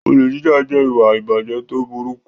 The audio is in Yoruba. Olè jíjà jẹ́ ìwà ìbàjẹ́ tó burúkú.